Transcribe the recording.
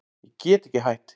Ég get ekki hætt.